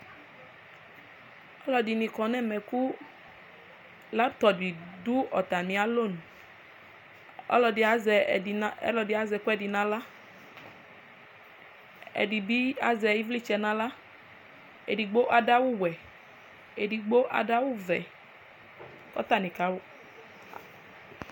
ɔloɛdini kɔ n'ɛmɛ kò laptɔp di do atami alɔnu ɔloɛdi azɛ ɛdi ɛkoɛdi n'ala ɛdi bi azɛ ivlitsɛ n'ala edigbo ado awu wɛ edigbo ado awu vɛ k'atani ka